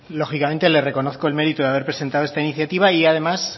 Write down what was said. lógicamente le reconozco el mérito de haber presentado esta iniciativa y además